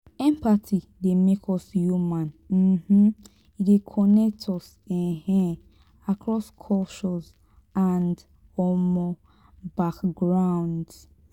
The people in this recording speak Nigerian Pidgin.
empathy dey make us human; um e dey connect us um across cultures and um backgrounds.